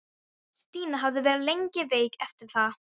Stína hafði verið lengi veik eftir það.